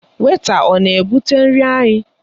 Wèịta ọ na-ebụte nri anyị?